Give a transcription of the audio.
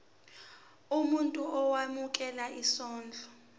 umuntu owemukela isondlo